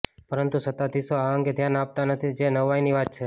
પરંતુ સત્તાધીશો આ અંગે ધ્યાન આપતા નથી જે નવાઇની વાત છે